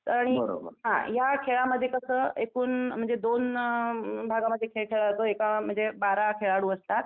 आणि हां या खेळामध्ये कसं एकूण म्हणजे दोन भागांमध्ये खेळ खेळला जातो एका म्हणजे बारा खेळाडू असतात.